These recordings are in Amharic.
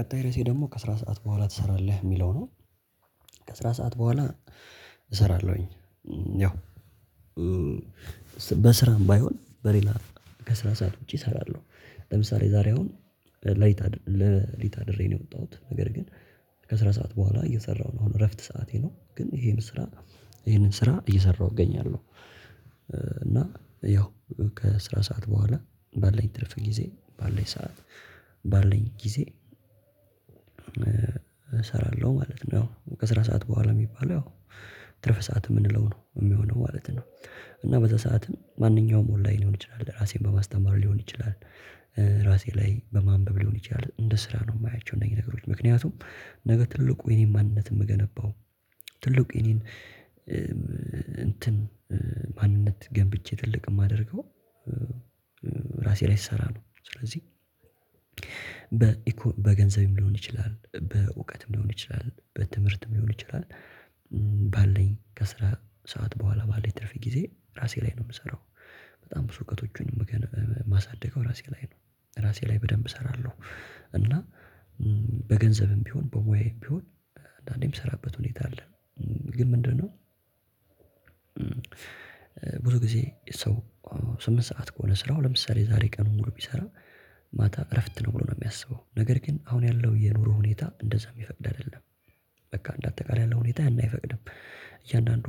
ቀጣይ ርዕሴ ደግሞ ከስራ ሰዓት በኋላ ትሰራለህ የሚለው ነው? ከስራ ሰዓት በኋላ እሰራለሁኝ። ያው በስራም ባይሆን በሌላ ከስራ ሰዓት ውጪ እሰራለሁ። ለምሳሌ ዛሬ አሁን ለሊት አድሬ ነው የወጣሁት ነገር ግን ከስራ ሰዓት በኋላ እየሰራሁ ነው አሁን እረፍት ሰዓቴ ነው ግን ይሄንን ስራ ይሄንን ስራ እየሰራሁ እገኛለሁ። እና ያው ከስራ ሰዓት በኋላ ባለን ትርፍ ጊዜ ባለኝ ሰዓት ባለን ጊዜ እሰራለሁ ማለት ነው። ያው ከስራ ሰዓት በኋላ የሚባለው ያው ትርፍ ሰዓት የምንለው ነው የሚሆነው ማለት ነው። እና በዛ ሰዓትም ማንኛውም ኦንላይን ሊሆን ይችላል ለራሴም በማስተማር ሊሆን ይችላል። ራሴ ላይ በማንበብ ሊሆን ይችላል እንደ ስራ ነው የማያቸው እነዚህ ነገሮች ምክንያቱም ነገ ትልቁ የኔን ማንነት የምገነባው ትልቁ የኔን እንትን ማንነት ገንብቼ ትልቅ የማደርገው። ራሴ ላይ ስሰራ ነው። ስለዚህ በገንዘብም ሊሆን ይችላል በእውቀትም ሊሆን ይችላል በትምህርትም ሊሆን ይችላል። ባለን ከስራ ሰዓት በኋላ ባለኝ ትርፍ ጊዜ ራሴ ላይ ነው የምሰራው። በጣም ብዙ እውቀቶቹን የማሳድገው ራሴ ላይ ነው። ራሴ ላይ በደንብ እሰራለሁ እና በገንዘብም ቢሆን በሙያም ቢሆን አንዳንዴ ምሰራበት ሁኔታ አለ። ግን ምንድነው? ብዙ ጊዜ ሰው ስምንት ሰዓት ከሆነ ስራው ለምሳሌ ዛሬ ቀኑን ሙሉ የሚሰራ ማታ እረፍት ነው ብሎ ነው የሚያስበው ነገር ግን አሁን ያለው የኑሮ ሁኔታ እንደዛ የሚፈቅድ አይደለም። በቃ እንደ አጠቃላይ ያለው ሁኔታ ያን አይፈቅድም እያንዳንዱ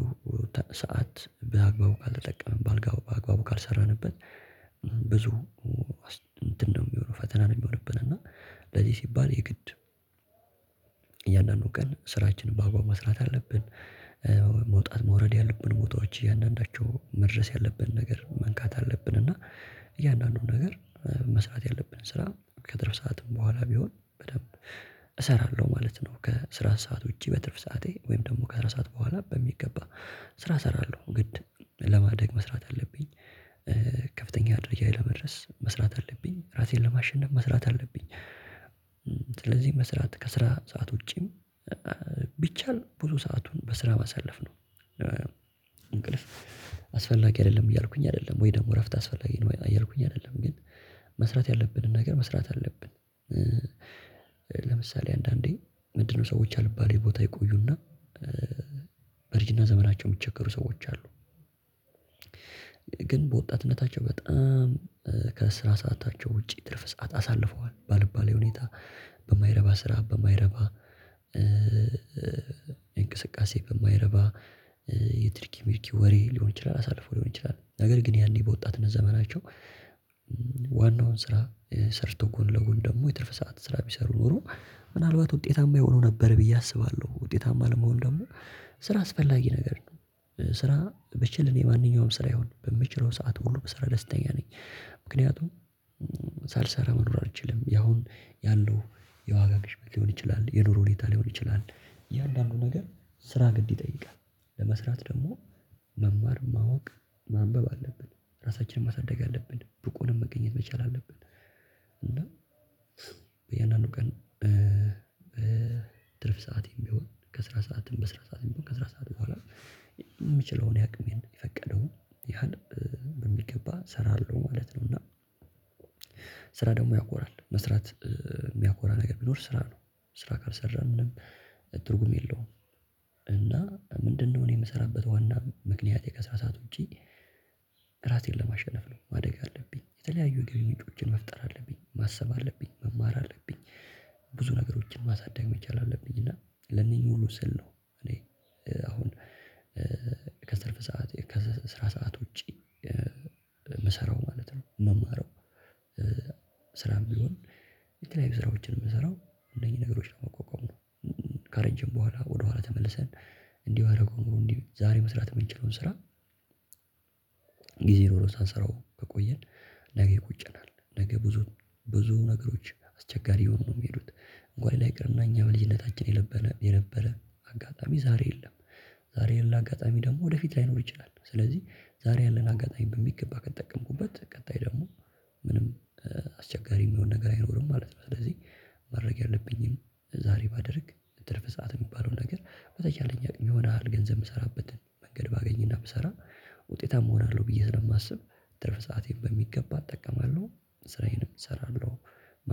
ሰዓት በአግባቡ ካልተጠቀምን በአግባቡ ካልሰራንበት። ብዙ እንትን ነው የሚሆነው ፈተና ነው የሚሆነው። እና ለዚህ ሲባል የግድ እያንዳንዱ ቀን ስራችንን በአግባቡ መስራት አለብን። ወይ መውጣት መውረድ ያለብን ቦታዎች እያንዳንዳቸው መድረስ ያለብን ነገር መንካት አለብን። እና እያንዳንዱን ነገር መስራት ያለብን ስራ ከስራ ሰዓትም በኋላ ቢሆን በደንብ እሰራለሁ ማለት ነው። ከስራ ሰዓት ውጪ በትርፍ ሰዓቴ ወይም ደግሞ ከስራ ሰዓት በኋላ በሚገባ ስራ እሰራለሁ ግድ ለማደግ መስራት አለብኝ። ከፍተኛ ድርጅት ለመድረስ መስራት አለብኝ ራሴን ለማሸነፍ መስራት አለብኝ። ስለዚህ መስራት ከስራ ሰዓት ውጪም ቢቻል ብዙ ሰአቱን በስራ ማሳለፍ ነው። እንቅልፍ አስፈላጊ አይደለም እያልኩኝ አይደለም ወይ ደግሞ እረፍት አስፈላጊ ነው እያልኩኝ አይደለም ግን መስራት ያለብንን ነገር መስራት አለብን። ለምሳሌ አንዳንዴ ምንድነው ሰዎች አልባሌ ቦታ ይቆዩና በርጅና ዘመናቸው የሚቸገሩ ሰዎች አሉ። ግን በወጣትነታቸው በጣም ከስራ ሰአታቸው ውጪ ትርፍ ሰዓት አሳልፈዋል ባልባሌ ሁኔታ በማይረባ ስራ በማይረባ እንቅስቃሴ በማይረባ የትርኪ ምርኪ ወሬ ሊሆን ይችላል። አሳልፎ ሊሆን ይችላል ነገር ግን ያኔ በወጣትነት ዘመናቸው። ዋናውን ስራ ሰርቶ ጎን ለጎን ደግሞ የትርፍ ሰዓት ስራ ቢሰሩ ኖሮ ምናልባት ውጤታማ የሆኑ ነበር ብዬ አስባለሁ። ውጤታማ ለመሆን ደግሞ ስራ አስፈላጊ ነገር ነው። ስራ ብችል የማንኛውም ስራ ይሁን በምችለው ሰዓት ሁሉ በስራ ደስተኛ ነኝ። ምክንያቱም ሳልሰራ መኖር አልችልም። ያሁን ያለው የዋጋ ቅሽበት ሊሆን ይችላል የኑሮ ሁኔታ ሊሆን ይችላል እያንዳንዱ ነገር ስራ ግድ ይጠይቃል። ለመስራት ደግሞ መማር ማወቅ ማንበብ አለብን ራሳችንን ማሳደግ አለብን ብቁ ሆነን መገኘት መቻል አለብን። እና በእያንዳንዱ ቀን ትርፍ ሰዓት የሚሆን ከስራ ሰዓትም በስራ ሰዓትም ከስራ ሰዓት በኋላ የምችለውን ያቅሜን የፈቀደውን ያህል በሚገባ እሰራለሁ ማለት ነው። እና ስራ ደግሞ ያኮራል መስራት የሚያኮራ ነገር ቢኖር ስራ ነው። ስራ ካልሰራን ምንም ትርጉም የለውም። እና ምንድነው? እኔ የምሰራበት ዋና ምክንያቴ ከስራ ሰዓት ውጪ ራሴን ለማሸነፍ ነው ማደግ አለብኝ የተለያዩ የገቢ ምንጮችን መፍጠር አለብኝ ማሰብ አለብኝ መማር አለብኝ። ብዙ ነገሮችን ማሳደግ መቻል አለብኝ እና ለእነኚህ ሁሉ ስል ነው እኔ አሁን ከትርፍ ሰዓት ከስራ ሰዓት ውጪ የምሰራው ማለት ነው። የምማረው ስራም ቢሆን የተለያዩ ስራዎችን የምሰራው እነዚህ ነገሮች ነው የማቋቋምነው። ከረጅም በኋላ ወደኋላ ተመልሰን እንዲሁ አደረገው እንዲሁ ዛሬ መስራት የምንችለውን ስራ ጊዜ ኖሮ ሳንሰራው ከቆየን ነገ ይቆጨናል። ነው ነገ ብዙ ብዙ ነገሮች አስቸጋሪ ይሆኑ ነው የሚሄዱት። እንኳን ላይ ቅርና እኛ በልጅነታችን የነበረ የነበረ አጋጣሚ ዛሬ የለም። ዛሬ የለ አጋጣሚ ደግሞ ወደፊት ላይኖር ይችላል። ስለዚህ ዛሬ ያለን አጋጣሚ በሚገባ ከተጠቀምኩበት ቀጣይ ደግሞ ምንም አስቸጋሪ የሚሆን ነገር አይኖርም ማለት ነው። ስለዚህ ማድረግ ያለብኝን ዛሬ ባደርግ ትርፍ ሰዓት የሚባለውን ነገር በተቻለኝ አቅም ይሆናል ገንዘብ የምሰራበትን መንገድ ባገኝና ብሰራ ውጤታም እሆናለሁ ብዬ ነው ማስበው። ትርፍ ሰአቴን በሚገባ እጠቀማለሁ። ስራዬንም እሰራለሁ።